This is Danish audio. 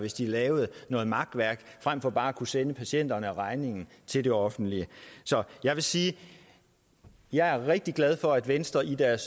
hvis de lavede noget makværk frem for bare at kunne sende patienterne regningen til det offentlige så jeg vil sige at jeg er rigtig glad for at venstre i deres